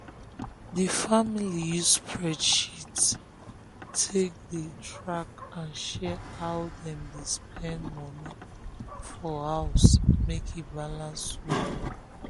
di family use spreadsheet take dey track and share how dem dey spend money for house make e balance well.